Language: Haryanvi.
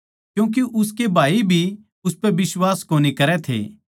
क्यूँके उसके भाई भी उसपै बिश्वास कोनी करै थे